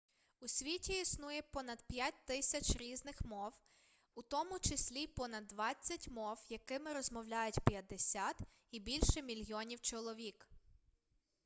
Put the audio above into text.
у світі існує понад 5000 різних мов у тому числі понад двадцять мов якими розмовляють 50 і більше мільйонів чоловік